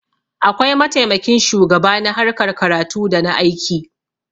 akwai mataimakin shugaba na harkar karatu da na aiki